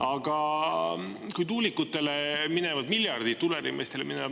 Aga kui tuulikutele minevad miljardid ………….